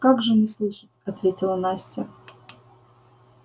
как же не слышать ответила настя